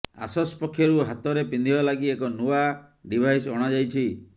ଆସସ୍ ପକ୍ଷରୁ ହାତରେ ପିନ୍ଧିବା ଲାଗି ଏକ ନୂଆ ଡିଭାଇସ୍ ଅଣାଯାଇଛି